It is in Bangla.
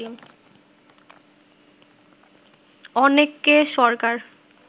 অনেককে সরকার